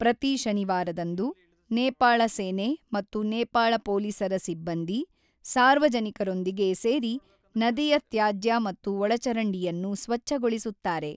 ಪ್ರತಿ ಶನಿವಾರದಂದು, ನೇಪಾಳ ಸೇನೆ ಮತ್ತು ನೇಪಾಳ ಪೊಲೀಸರ ಸಿಬ್ಬಂದಿ, ಸಾರ್ವಜನಿಕರೊಂದಿಗೆ ಸೇರಿ ನದಿಯ ತ್ಯಾಜ್ಯ ಮತ್ತು ಒಳಚರಂಡಿಯನ್ನು ಸ್ವಚ್ಛಗೊಳಿಸುತ್ತಾರೆ.